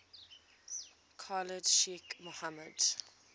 khalid sheikh mohammed